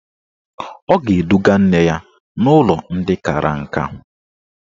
Ọ ga-eduga nne ya n'ụlọ ndị kara nka.